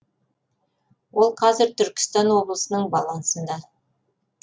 ол қазір түркістан облысының балансында